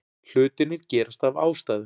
Hlutirnir gerast af ástæðu.